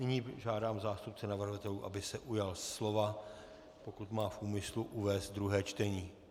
Nyní žádám zástupce navrhovatelů, aby se ujal slova, pokud má v úmyslu uvést druhé čtení.